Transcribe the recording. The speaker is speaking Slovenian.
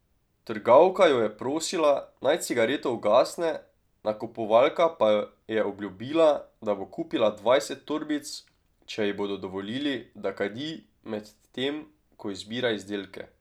Trgovka jo je prosila, naj cigareto ugasne, nakupovalka pa je obljubila, da bo kupila dvajset torbic, če ji bodo dovolili, da kadi, medtem ko izbira izdelke.